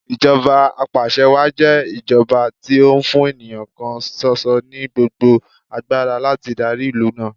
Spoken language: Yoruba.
Ìjọba apàṣẹwàá jẹ́ ìjọba tí ó fún ènìyàn kan ṣoṣo ní gbogbo agbára láti darí ìlú náà.